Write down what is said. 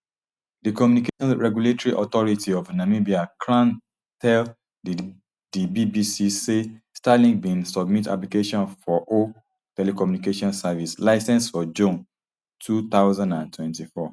di communications regulatory authority of namibia cran tell di bbc say starlink bin submit application for o telecommunications service licence for june two thousand and twenty-four